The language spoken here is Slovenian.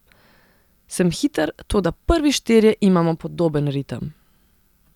Sem hiter, toda prvi štirje imamo podoben ritem.